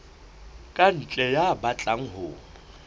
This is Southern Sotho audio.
ka ntle ya batlang ho